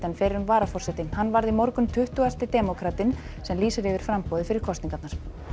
fyrrum varaforseti hann varð í morgun tuttugasti demókratinn sem lýsir yfir framboði fyrir kosningarnar